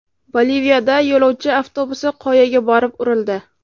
Boliviyada yo‘lovchi avtobusi qoyaga borib urildi.